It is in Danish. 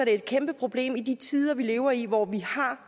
et kæmpe problem i de tider vi lever i hvor vi